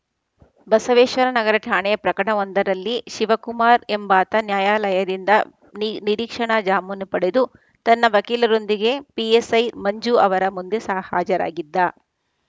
ಬಸವೇಶ್ವರ ನಗರ ಠಾಣೆಯ ಪ್ರಕರಣವೊಂದರಲ್ಲಿ ಶಿವಕುಮಾರ್‌ ಎಂಬಾತ ನ್ಯಾಯಾಲಯದಿಂದ ನಿ ನಿರೀಕ್ಷಣಾ ಜಾಮೀನು ಪಡೆದು ತನ್ನ ವಕೀಲರೊಂದಿಗೆ ಪಿಎಸ್‌ಐ ಮಂಜು ಅವರ ಮುಂದೆ ಸಹ್ ಹಾಜರಾಗಿದ್ದ